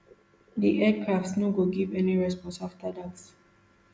di aircraft no give any response afta dat